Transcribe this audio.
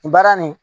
Baara nin